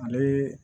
Ale